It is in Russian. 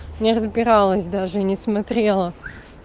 не разбиралась даже не смотрела